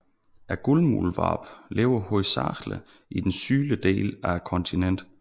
Guldmuldvarpen lever hovedsageligt i den sydlige del af kontinentet